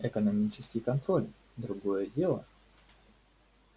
экономический контроль другое дело